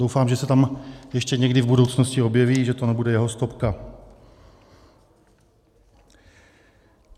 Doufám, že se tam ještě někdy v budoucnosti objeví, že to nebude jeho stopka.